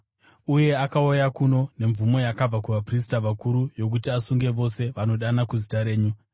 Uye akauya kuno nemvumo yakabva kuvaprista vakuru yokuti asunge vose vanodana kuzita renyu.”